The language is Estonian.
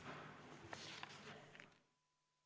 Istungi lõpp kell 16.34.